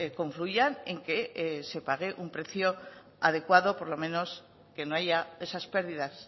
confluyan en que se pague un precio adecuado por lo menos que no haya esas pérdidas